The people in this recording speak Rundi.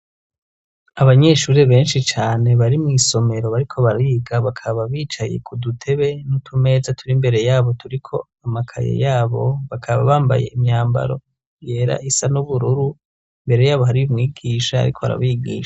abanyeshuri benshi cane bari mw'isomero bariko bariga, bakaba bicaye ku dutebe n'utumeza turi mbere yabo turiko amakaye yabo, bakaba bambaye imyambaro yera isa n'ubururu, imbere yabo hariyo umwigisha ariko arabigisha.